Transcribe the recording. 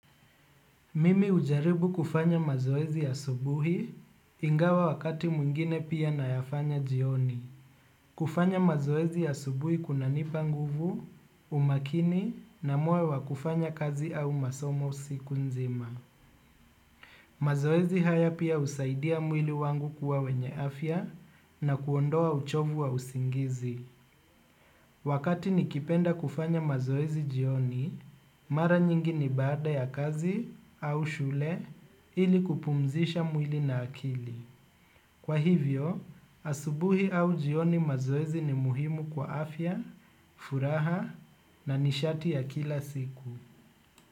Mimi hujaribu kufanya mazoezi ya subuhi ingawa wakati mwingine pia na yafanya jioni. Kufanya mazoezi ya asubuhi kuna nipa nguvu, umakini na moyo wa kufanya kazi au masomo siku nzima. Mazoezi haya pia husaidia mwili wangu kuwa wenye afya na kuondoa uchovu wa usingizi. Wakati nikipenda kufanya mazoezi jioni, mara nyingi ni baada ya kazi au shule ili kupumzisha mwili na akili. Kwa hivyo, asubuhi au jioni mazoezi ni muhimu kwa afya, furaha na nishati ya kila siku.